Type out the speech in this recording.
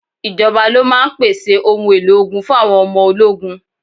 Ìjọba ló máa ń pèsè òun èlò ogun fun àwọn ọmọ ológun.